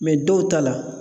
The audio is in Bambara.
dɔw ta la